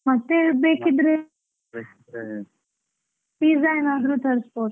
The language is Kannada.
ಮತ್ತೆ ಬೇಕಿದ್ರೆ, pizza ಏನಾದ್ರೂ ತರಿಸ್ಬೋದು.